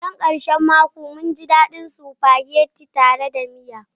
Karshen karshen mako, mun ji daɗin spaghetti mai daɗi tare da miya.